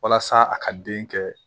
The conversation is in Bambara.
Walasa a ka den kɛ